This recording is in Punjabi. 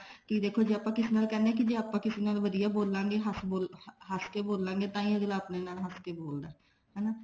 ਕੀ ਦੇਖੋ ਜੇ ਆਪਾਂ ਕਿਸੇ ਨਾਲ ਕਹਿੰਦੇ ਹਾਂ ਆਪਾਂ ਕਿਸੇ ਨਾਲ ਵਧੀਆ ਬੋਲਾਂਗੇ ਹਸ ਕੇ ਬੋਲਾਂਗੇ ਤਾਹੀਂ ਹੀ ਅਗਲਾ ਆਪਣੇ ਨਾਲ ਹਸ ਕੇ ਬੋਲਦਾ ਹਨਾ